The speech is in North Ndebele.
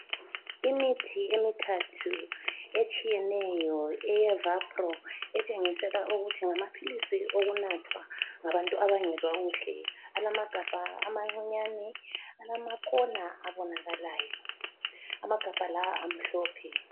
Imithi emithathu etshiyeneyo eye Avapro etshengisela ukuthi ngamaphilisi owokunathwa ngabantu abangezwa kuhle alamagabha amancinyane alamakona abonakalayo. Amagabha la amhlophe.